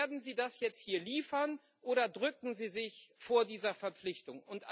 Werden Sie das jetzt hier liefern, oder drücken Sie sich vor dieser Verpflichtung?